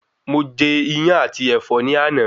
Mo je Iyán àti Ẹ̀fọ́ ní àná